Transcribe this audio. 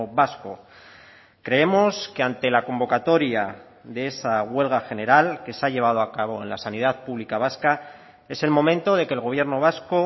vasco creemos que ante la convocatoria de esa huelga general que se ha llevado a cabo en la sanidad pública vasca es el momento de que el gobierno vasco